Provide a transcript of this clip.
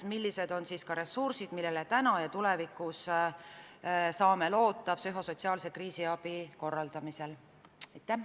Millised on ressursid, millele tulevikus saame loota psühhosotsiaalse kriisiabi korraldamisel?